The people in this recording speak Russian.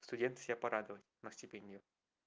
студенты себя порадовать на стипендию